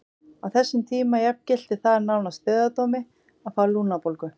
Á þessum tíma jafngilti það nánast dauðadómi að fá lungnabólgu.